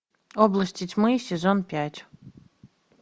области тьмы сезон пять